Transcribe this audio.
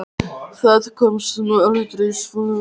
Það komst nú aldrei svo langt.